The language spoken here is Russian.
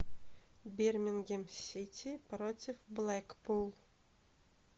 бермингем сити против блэкпул